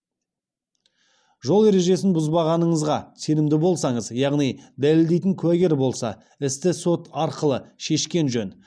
жол ережесін бұзбағаныңызға сенімді болсаңыз яғни дәлелдейтін куәгер болса істі сот арқылы шешкен жөн